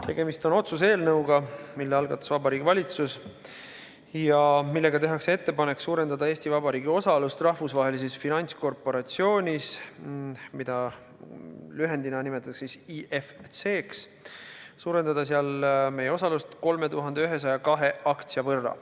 Tegemist on otsuse eelnõuga, mille algatas Vabariigi Valitsus ja millega tehakse ettepanek suurendada Eesti Vabariigi osalust Rahvusvahelises Finantskorporatsioonis 3102 aktsia võrra.